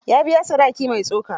Ya biya sadaki mai tsoka.